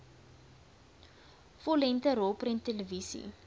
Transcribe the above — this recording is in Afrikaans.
vollengte rolprent televisie